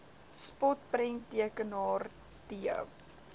spot prenttekenaar t